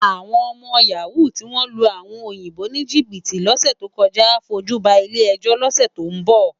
Awòn òmò yàwú tiwón lú áwòn óyinbó nijibiti lòsè tókòjá á fójú bá ilé èjó lòsè tó n bò